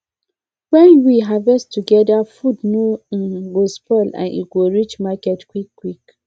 when we harvest together food no um go spoil and e go reach market quick quick